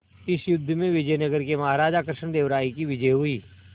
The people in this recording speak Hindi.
इस युद्ध में विजय नगर के महाराज कृष्णदेव राय की विजय हुई